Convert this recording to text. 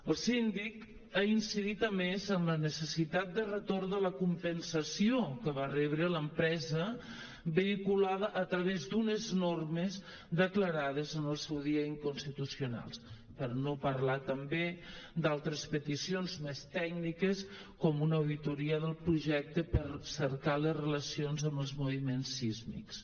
el síndic ha incidit a més en la necessitat de retorn de la compensació que va rebre l’empresa vehiculada a través d’unes normes declarades en el seu dia incons·titucionals per no parlar també d’altres peticions més tècniques com una auditoria del projecte per cercar les relacions amb els moviments sísmics